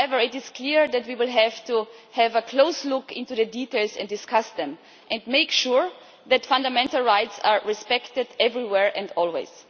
However, it is clear that we will have to have a close look into the details and discuss them, and make sure that fundamental rights are respected everywhere and always.